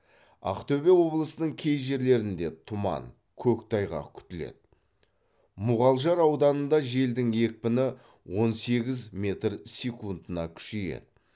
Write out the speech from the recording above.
ақтөбе облысының кей жерлерінде тұман көктайғақ күтіледі муғалжар ауданында желдің екпіні он сегіз метр секундына күшейеді